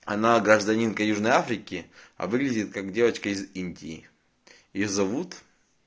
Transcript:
она гражданинка южной африке а выглядит как девочка из индии её зовут